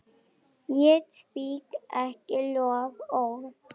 Ég svík ekki loforð.